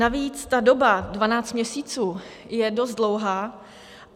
Navíc ta doba 12 měsíců je dost dlouhá.